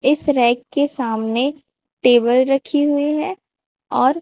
इस रैक के सामने टेबल रखी हुई है और--